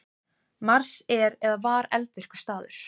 Mars er eða var eldvirkur staður.